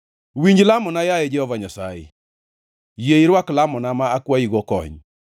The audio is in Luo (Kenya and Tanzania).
Winj lamona, yaye Jehova Nyasaye; yie irwak lamona ma akwayigo kony.